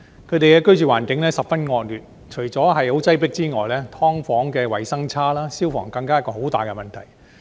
他們的居住環境十分惡劣，除了十分擠迫之外，"劏房"衞生差，消防更是一個很大的問題。